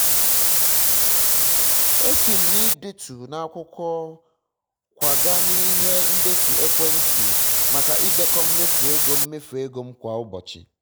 esi m na idetu na-akwụkwọ kwaga n'ihe ndetu ekwentị maka idekọ mmefu ego mmefu ego m kwa ụbọchị